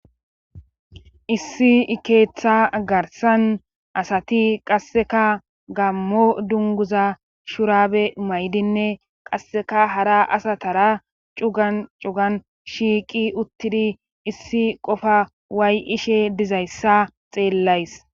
Issi ikeeththa garsan asati qasseka gammo dunguza shurabe maydinne qasseka hara asatara cugan cugan shiiqi uttidi issi qofa waay7ishe dizayssa xeellays.